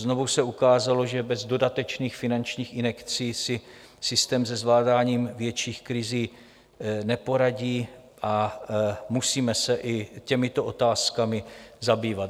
Znovu se ukázalo, že bez dodatečných finančních injekcí si systém se zvládáním větších krizí neporadí, a musíme se i těmito otázkami zabývat.